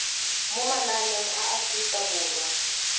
mo mananeng a aforika borwa